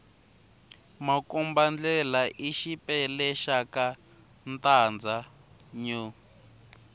makomba ndlela i xipela xaka ntanzha new